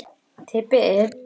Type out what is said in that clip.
Fæst mál eru þannig vaxin.